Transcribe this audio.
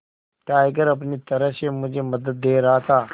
tiger अपनी तरह से मुझे मदद दे रहा था